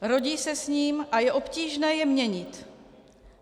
Rodí se s ním a je obtížné je měnit.